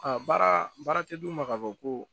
Aa baara baara tɛ d'u ma ka fɔ ko